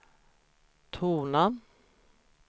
tona